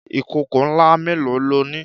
Ìkòkò ńlá mélòó lo ní?